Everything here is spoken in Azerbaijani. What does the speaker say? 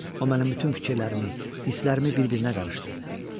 O mənim bütün fikirlərimi, hisslərimi bir-birinə qarışdırdı.